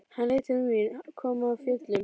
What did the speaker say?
Hann leit til mín, kom af fjöllum.